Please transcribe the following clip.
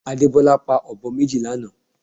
Adebola pa ọ̀bọ méjì lánàá